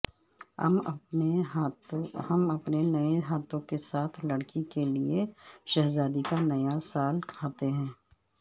ہم اپنے نئے ہاتھوں کے ساتھ لڑکی کے لئے شہزادی کا نیا سال کھاتے ہیں